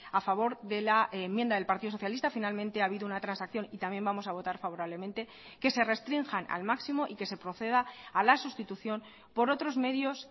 a favor de la enmienda del partido socialista finalmente ha habido una transacción y también vamos a votar favorablemente que se restrinjan al máximo y que se proceda a la sustitución por otros medios